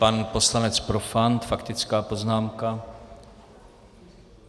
Pan poslanec Profant - faktická poznámka.